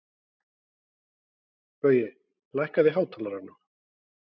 Baui, lækkaðu í hátalaranum.